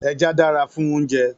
Èjà dàrá fún óoùnjè